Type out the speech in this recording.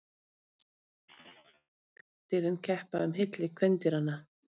Sérstakt er hinsvegar þegar karldýrin keppa um hylli kvendýranna.